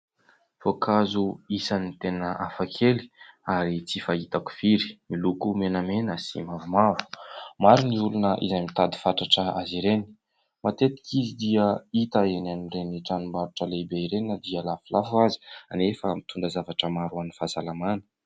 Voankazo isan'ny tena hafakely ary tsy fahitako firy, miloko menamena sy mavomaro; maro ny olona izay mitady fatratra azy ireny, matetika izy dia hita eny amin'ireny tranom-barotra lehibe ireny na dia lafolafo azy kanefa mitondra zavatra maro ho an'ny fahasalamana.